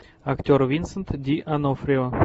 актер винсент ди онофрио